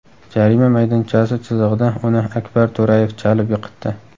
Jarima maydonchasi chizig‘ida uni Akbar To‘rayev chalib yiqitdi.